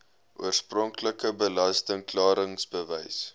oorspronklike belasting klaringsbewys